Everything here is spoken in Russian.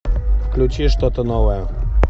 включи что то новое